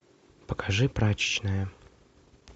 покажи прачечная